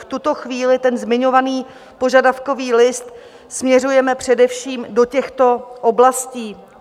V tuto chvíli ten zmiňovaný požadavkový list směřujeme především do těchto oblastí.